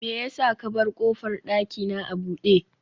me yasa ka bar kofar dakina a bude